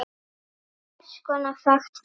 Á hvers konar vakt ferðu?